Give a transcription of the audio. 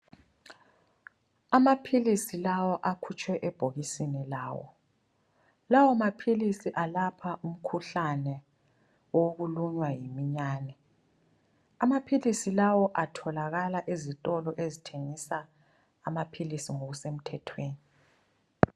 Amaphilisi lawa akhutshwe ebhokisini lawo. Lawo maphilisi alapha umkhuhlane wokulunywa yiminyane. Amaphilisi lawo atholakala ezitolo ezithengisa amaphilisi ngokusemthethweni.